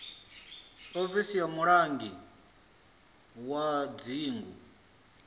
ofisi ya mulangi wa dzingu